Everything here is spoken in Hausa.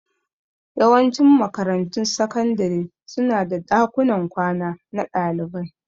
Yawancin makarantun sakandare su na da ɗakunan kwana na ɗalibai